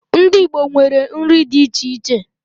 Ndị Igbo nwere nri dị iche iche.